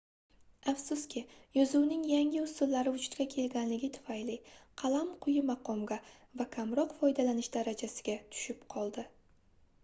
afsuski yozuvning yangi usullari vujudga kelganligi tufayli qalam quyi maqomga va kamroq foydalanish darajasiga tushib qoldi